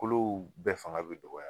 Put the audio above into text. Kuluw bɛɛ fanga bɛ dɔgɔya